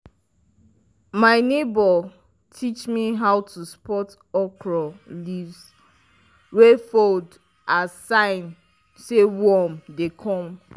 my neighbour teach me how to spot okra leaves wey fold as sign say worms dey come.